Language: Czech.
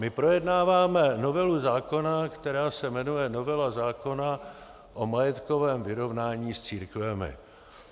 My projednáváme novelu zákona, která se jmenuje novela zákona o majetkovém vyrovnání s církvemi.